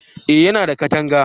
eh ya na da katanga